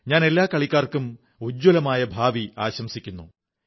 ഞാൻ എല്ലാ കളിക്കാർക്കും ഉജ്ജ്വലമായ ഭാവി ആശംസിക്കുന്നു